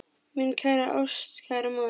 Mín kæra ástkæra móðir.